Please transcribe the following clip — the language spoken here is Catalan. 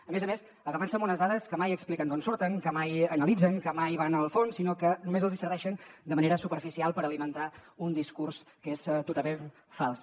a més a més agafant se a unes dades que mai expliquen d’on surten que mai analitzen que mai van al fons sinó que només els hi serveixen de manera superficial per alimentar un discurs que és totalment fals